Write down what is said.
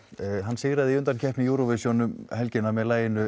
sigraði í undankeppni júróvisjón um helgina með laginu